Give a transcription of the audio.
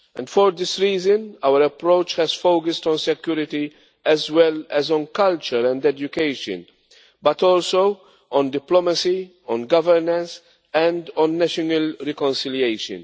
For this reason, our approach has focused on security as well as on culture and education, but also on diplomacy, governance and national reconciliation.